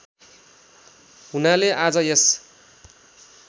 हुनाले आज यस